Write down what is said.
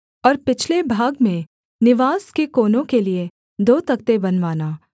और पिछले भाग में निवास के कोनों के लिये दो तख्ते बनवाना